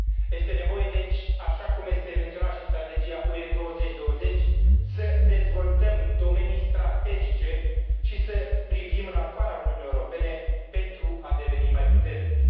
Este nevoie, deci, așa cum este menționat și în Strategia UE 2020, să dezvoltăm domenii strategice și să privim în afara Uniunii Europene, pentru a deveni mai puternici.